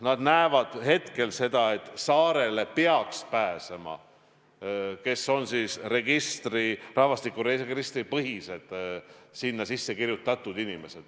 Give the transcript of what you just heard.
Nad näevad hetkel seda, et saarele peaks pääsema need, kes on rahvastikuregistris sinna sisse kirjutatud.